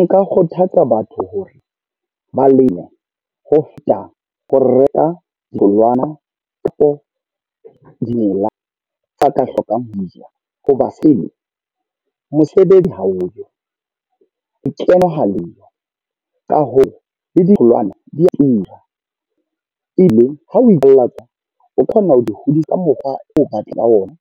Nka kgothatsa batho hore, ba leme ho feta ho reka ditholwana kapo dimela tsa ka hlokang . Hoba seno mosebetsi ha oyo, lekeno ha leyo. Ka hoo ditholwana di a tura. E be ha o ile tswa o kgona ho di hodisa mokgwa o batlang ho ona